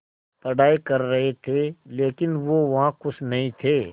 पढ़ाई कर रहे थे लेकिन वो वहां ख़ुश नहीं थे